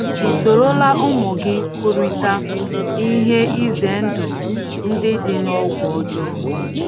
I sorola ụmụ gị kwurịta ihe izendụ ndị dị n’ọgwụ ọjọọ?